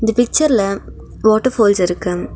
இந்த பிச்சர்ல water falls இருக்கு.